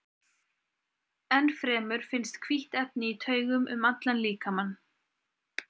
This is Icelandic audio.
Enn fremur finnst hvítt efni í taugum um allan líkamann.